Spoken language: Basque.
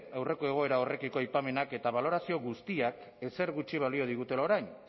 aurreko egoera horrekiko aipamenak eta balorazio guztiak ezer gutxi balio digutela orain